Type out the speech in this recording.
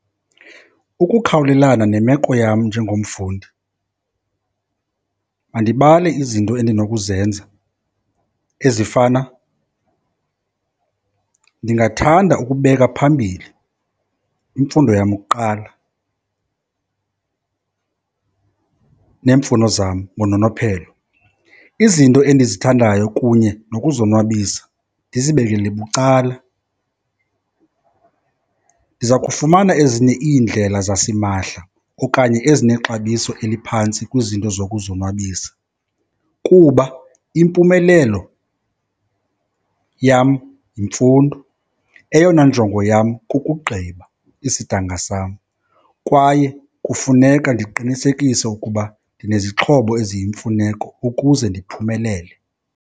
Ukukhawulelana nemeko yam njengomfundi mandibale izinto endinokuzenza ezifana, ndingathanda ukubeka phambili imfundo yam kuqala neemfuno zam ngononophelo, izinto endizithandayo kunye nokuzonwabisa ndizibekele bucala. Ndiza kufumana ezinye iindlela zasimahla okanye ezinexabiso eliphantsi kwizinto zokuzonwabisa kuba impumelelo yam yimfundo. Eyona njongo yam kukugqiba isidanga sam. Kwaye kufuneka ndiqinisekise ukuba ndinezixhobo eziyimfuneko ukuze ndiphumelele.